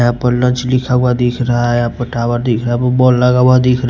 यहां पर लंच लिखा हुआ दिख रहा है यहां पर टावर दिख रहा है बोर्ड लगा हुआ दिख --